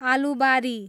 Alubari